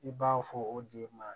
I b'a fɔ o de ma